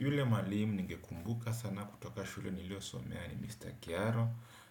Yule mwalimu ningekumbuka sana kutoka shule niliyosomea ni Mr. Kiaro,